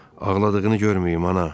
Ağladığını görməyim ana.